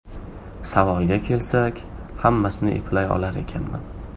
Savolga kelsak, hammasini eplay olar ekanman!